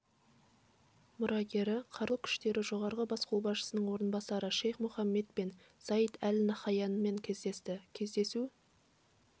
мұрагері қарулы күштері жоғарғы бас қолбасшысының орынбасары шейх мұхаммед бен заид әл наһаянмен кездесті кездесу